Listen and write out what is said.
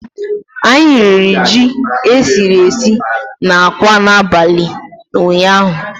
Anyị riri ji e siri esi na akwa n'abalị ụnyaahụ